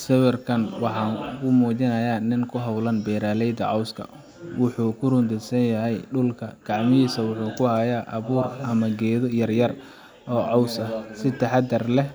Sawirkan waxa kumujinaya nin kuhawlan beraleyda cooska, wuxu kurodunsanyahay dulka kacmahisa waxu kuhaya abwaa amah keetha, yaryar oo coos aah si taxadar leeh